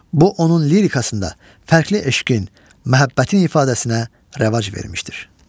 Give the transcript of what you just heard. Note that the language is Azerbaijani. Bu onun lirikasında fərqli eşqin, məhəbbətin ifadəsinə rəvac vermişdir.